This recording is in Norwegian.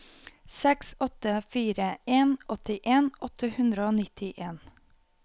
seks åtte fire en åttien åtte hundre og nittien